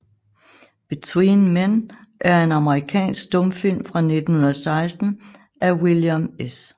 Between Men er en amerikansk stumfilm fra 1916 af William S